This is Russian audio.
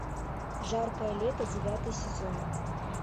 жаркое лето девятый сезон